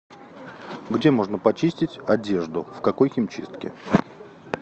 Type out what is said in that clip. где можно почистить одежду в какой химчистке